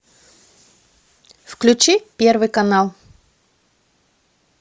включи первый канал